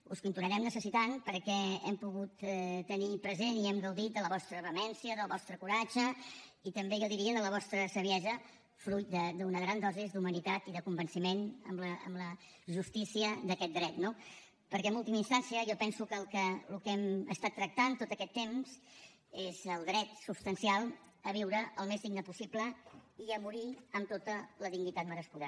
us continuarem necessitant perquè hem pogut tenir present i hem gaudit de la vostra vehemència del vostre coratge i també jo diria de la vostra saviesa fruit d’una gran dosi d’humanitat i de convenciment en la justícia d’aquest dret no perquè en última instància jo penso que el que hem estat tractant tot aquest temps és el dret substancial a viure al més dignament possible i a morir amb tota la dignitat merescuda